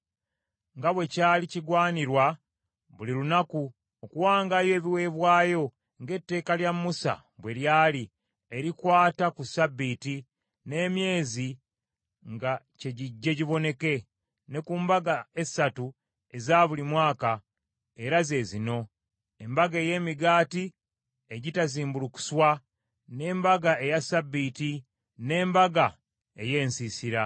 nga bwe kyali kigwanirwa buli lunaku, okuwangayo ebiweebwayo ng’etteeka lya Musa bwe lyali, erikwata ku ssabbiiti, n’emyezi nga kye gijje giboneke, ne ku mbaga essatu eza buli mwaka, era ze zino: embaga ey’emigaati egitazimbulukuswa, n’embaga eya ssabbiiti, n’embaga ey’ensiisira.